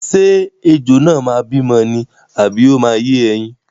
Ṣé ejò náà máa bímọ ni àbí ó máa yé ẹyin?